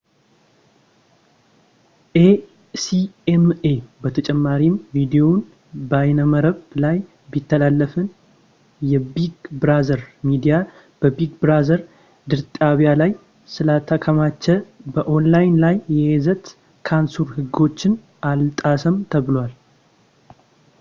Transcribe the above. acma በተጨማሪም ቪዲዮው በይነመረብ ላይ ቢተላለፍም የቢግ ብራዘር ሚዲያ በቢግ ብራዘር ድርጣቢያ ላይ ስላልተከማቸ በኦንላይን ላይ የይዘት ሳንሱር ህጎችን አልጣሰም ብሏል